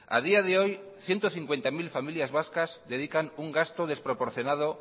a día de hoy ciento cincuenta mil familias vascas dedican un gasto desproporcionado